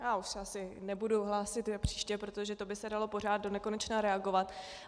Já už se asi nebudu hlásit na příště, protože to by se dalo pořád donekonečna reagovat.